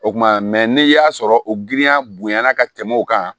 O kuma n'i y'a sɔrɔ o girinya bonya na ka tɛmɛ o kan